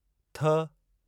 थ